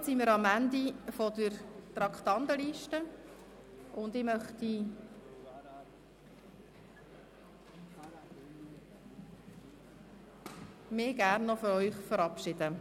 Damit sind wir am Ende der Traktandenliste, und ich möchte mich noch gerne von Ihnen verabschieden.